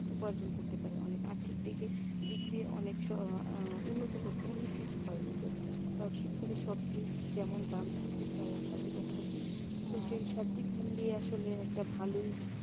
উপার্জন করতে পারে অনেক আর্থিক দিকে দিক দিয়ে আহ উন্নত উন্নতি হয় ওদের, কারণ শীতকালের সবজির যেমন দাম থাকে তেমন চাহিদা থাকে তো সেই সবদিক মিলিয়ে আসলে একটা ভালই